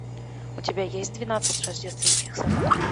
у тебя есть двенадцать рождественских собак